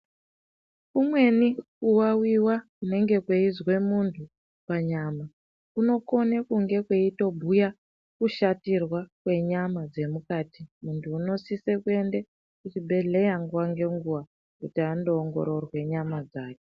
Kumweni kuwawiwa kunenge kweizwe muntu panyama kunokone kunge kweitibhuya kushatirwa kwenyama dzemukati. Muntu unosise kuense kuchibhehleya nguwa ngenguwa kuti andoongororwe nyama dzake.